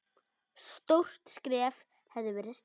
Stórt skref hafði verið stigið.